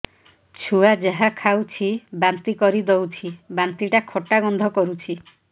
ଛୁଆ ଯାହା ଖାଉଛି ବାନ୍ତି କରିଦଉଛି ବାନ୍ତି ଟା ଖଟା ଗନ୍ଧ କରୁଛି